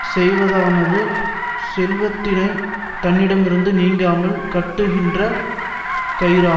செய்வதானது செல்வத்தினை தன்னிடமிருந்து நீங்காமல் கட்டுகின்ற கயிறாகும்